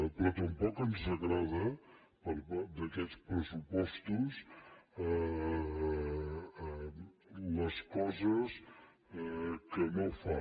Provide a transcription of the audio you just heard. però tampoc ens agraden d’aquests pressupostos les coses que no fa